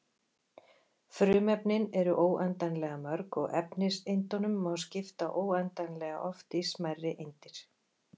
Frumefnin eru óendanlega mörg og efniseindunum má skipta óendanlega oft í smærri eindir.